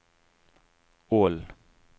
Ål